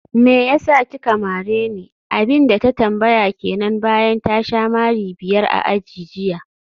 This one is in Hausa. meyasa kika mareni?, abinda ta tambaya kenan bayan ta sha mari biyar a aji jiya